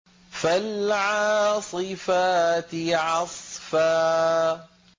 فَالْعَاصِفَاتِ عَصْفًا